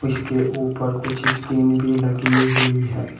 इसके ऊपर कुछ स्किन भी लगी हुई है।